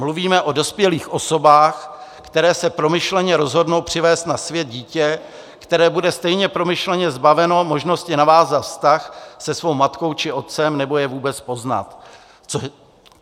Mluvíme o dospělých osobách, které se promyšleně rozhodnou přivést na svět dítě, které bude stejně promyšleně zbaveno možnosti navázat vztah se svou matkou či otcem nebo je vůbec poznat.